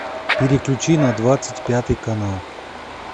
переключи на двадцать пятый канал